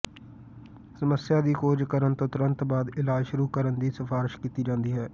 ਸਮੱਸਿਆ ਦੀ ਖੋਜ ਕਰਨ ਤੋਂ ਤੁਰੰਤ ਬਾਅਦ ਇਲਾਜ ਸ਼ੁਰੂ ਕਰਨ ਦੀ ਸਿਫਾਰਸ਼ ਕੀਤੀ ਜਾਂਦੀ ਹੈ